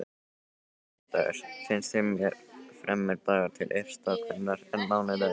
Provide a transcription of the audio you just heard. Föstudagur finnst mér fremur dagur til uppstokkunar en mánudagur.